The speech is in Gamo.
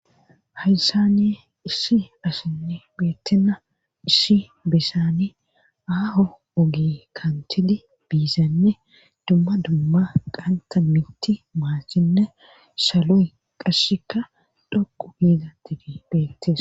haysani issi asinne beettena issi besani aaho ogi kantidi biizanne dumma dumma qanta miti maassinne saloy qasshika dhoqu giiza tidi beettes